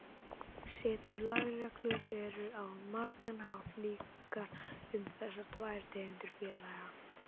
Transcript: Settar lagareglur eru á margan hátt líkar um þessar tvær tegundir félaga.